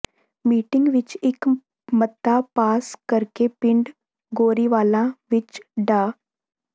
meeting ਵਿੱਚ ਇਕ ਮਤਾ ਪਾਸ ਕਰਕੇ ਪਿੰਡ ਗੋਰੀਵਾਲਾ ਵਿੱਚ ਡਾ